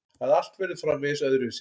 Að allt verður framvegis öðruvísi.